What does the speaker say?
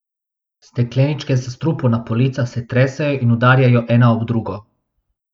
Stekleničke s strupom na policah se tresejo in udarjajo ena ob drugo.